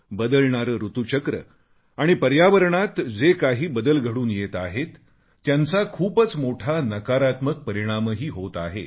बदलणारे ऋतूचक्र आणि पर्यावरणात जे काही बदल घडून येत आहेत त्यांचा खूपच मोठा नकारात्मक परिणामही होत आहे